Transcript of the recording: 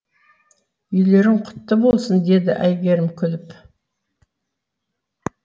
үйлерің құтты болсын деді әйгерім күліп